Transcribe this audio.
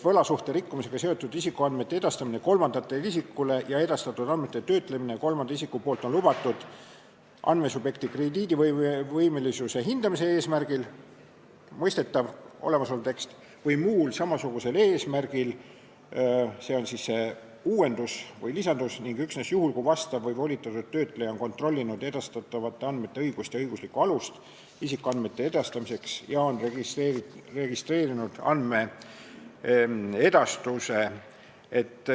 "Võlasuhte rikkumisega seotud isikuandmete edastamine kolmandale isikule ja edastatud andmete töötlemine kolmanda isiku poolt on lubatud andmesubjekti krediidivõimelisuse hindamise eesmärgil või muul samasugusel eesmärgil ning üksnes juhul, kui vastutav või volitatud töötleja on kontrollinud edastatavate andmete õigsust ja õiguslikku alust isikuandmete edastamiseks ning on registreerinud andmeedastuse.